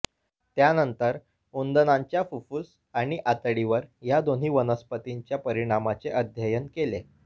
त्यानंतर उंदणांच्या फुफ्फुस आणि आतडीवर या दोन्ही वनस्पतींच्या परिणामाचे अध्ययन केले